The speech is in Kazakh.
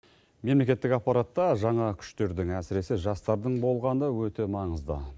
мемлекеттік аппаратта жаңа күштердің әсіресе жастардың болғаны өте маңызды